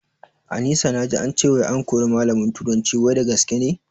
Anisa naji ance wai an kori malamin turanci wai da gaske ne?